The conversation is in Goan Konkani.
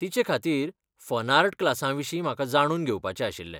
तिचे खातीर फनार्ट क्लासां विशीं म्हाका जाणून घेवपाचें आशिल्लें.